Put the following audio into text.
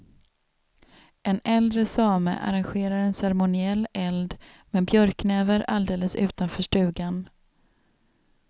En äldre same arrangerar en ceremoniell eld med björknäver alldeles utanför stugan.